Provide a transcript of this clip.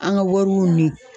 An ka wariw ni